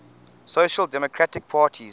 social democratic parties